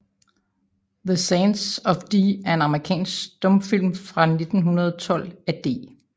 The Sands of Dee er en amerikansk stumfilm fra 1912 af D